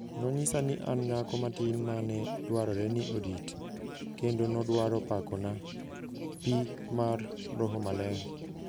Nonyisa ni an nyako matin ma ne dwarore ni orit, kendo nodwaro pakona pii mar roho maler..